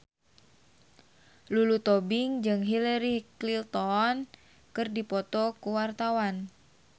Lulu Tobing jeung Hillary Clinton keur dipoto ku wartawan